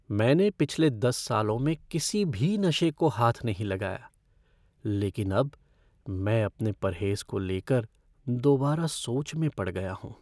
मैंने पिछले दस सालों में किसी भी नशे को हाथ नहीं लगाया, लेकिन अब मैं अपने परहेज़ को लेकर दोबारा सोच में पड़ गया हूँ।